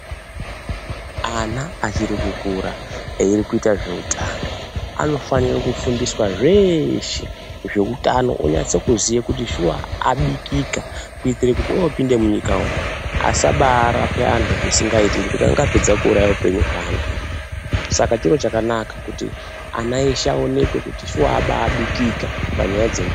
Ana achiri kukura ari kuita zveutano anofanira kufundiswa zveshe zveutano onase kuziya kuti shuwa abikika kuitira kuti opinda munyika umu asabarape antu zvisingaiti ngekuti angapedza kuuraya upenyu hweantu saka chiro chakanaka kuti ana eshe aonekwe kuti shuwa ababikika panyaya dzeutano.